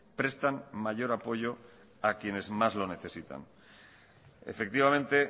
prestan mayor apoyo a quienes más lo necesitan efectivamente